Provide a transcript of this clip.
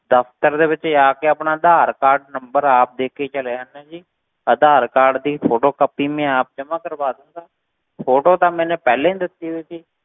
ਦਫ਼ਤਰ ਦੇ ਵਿੱਚ ਜਾ ਕੇ ਆਪਣਾ ਆਧਾਰ ਕਾਰਡ number ਆਪ ਦੇ ਕੇ ਚਲਿਆ ਜਾਨਾ ਜੀ, ਆਧਾਰ ਕਾਰਡ ਦੀ photocopy ਮੈਂ ਆਪ ਜਮਾ ਕਰਵਾ ਦੇਵਾਂਗਾ photo ਤਾਂ ਮੈਨੇ ਪਹਿਲਾਂ ਹੀ ਦਿੱਤੀ ਹੋਈ ਸੀ